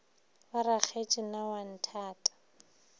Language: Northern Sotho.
wa rakgetse na o nthata